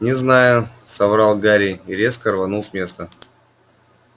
не знаю соврал гарри и резко рванул с места